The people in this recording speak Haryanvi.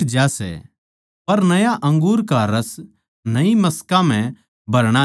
पर नया अंगूर का रस नई मशकां म्ह भरणा चाहिए